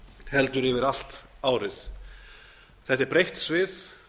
heldur yfir allt árið þetta er breitt svið